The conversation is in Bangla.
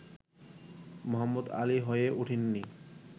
মোহাম্মদ আলী হয়ে উঠেননি